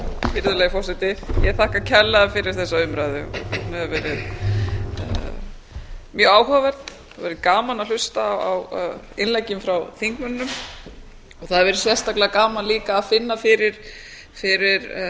virðulegi forseti ég þakka kærlega fyrir þessa umræðu hún hefur verið mjög áhugaverð verið gaman að hlusta á innleggin frá þingmönnunum og það hefur verið sérstaklega gaman líka að finna fyrir